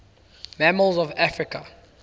mammals of africa